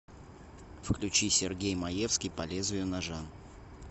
включи сергей маевский по лезвию ножа